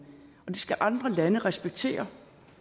og at det skal andre lande respektere